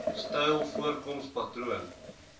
styl voorkoms patroon